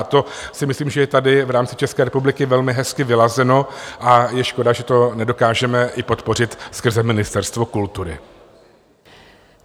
A to si myslím, že je tady v rámci České republiky velmi hezky vyladěno, a je škoda, že to nedokážeme i podpořit skrze Ministerstvo kultury.